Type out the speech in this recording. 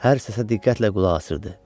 Hər səsə diqqətlə qulaq asırdı.